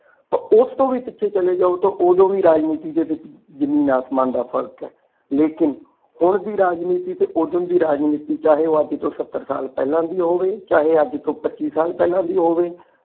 ਤੇ ਉਸ ਤੋਂ ਵੀ ਪਿੱਛੇ ਚਲੇ ਜਾਓ ਤੇ ਓਦੋ ਵੀ ਰਾਜਨੀਤੀ ਵਿਚ ਜ਼ਮੀਨ ਆਸਮਾਨ ਦਾ ਫਰਕ ਹੈ ਲੇਕਿਨ ਹੁਣ ਦੀ ਰਾਜਨੀਤੀ ਤੇ ਓਹਦੋ ਦੀ ਰਾਜਨੀਤੀ ਚਾਹੇ ਉਹ ਅੱਜ ਤੋ ਸੱਤਰ ਸਾਲ ਦੀ ਪਹਿਲਾ ਦੀ ਹੋਵੇ ਚਾਹੇ ਅੱਜ ਤੋ ਪੱਚੀ ਸਾਲ ਦੀ ਪਹਿਲਾ ਦੀ ਹੋਵੇ।